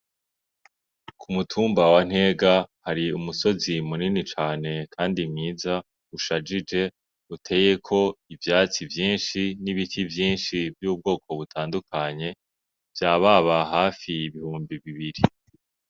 Ku mutumba wa Ntega hari umusozi munini cane kandi mwiza ushajije, uteyeko ivyatsi vyinshi n'ibiti vyinshi vy'ubwoko butandukanye, vyababa hafi ibihumbi bibiri.